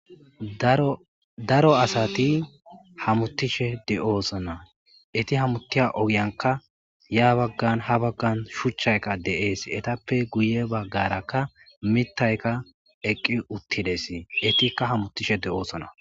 daro asati hamuttishe de'oosona eti hamuttiya ogiyanka ya baggan ha baggan shuchchayka deees etappe guye baggarakka mittayka eqqi uttides etikka hamuttishe de'oosona